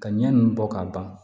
Ka ɲɛ ninnu bɔ ka ban